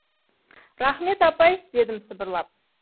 рахмет апай дедім сыбырлап